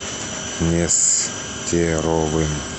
нестеровым